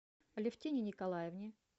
алевтине николаевне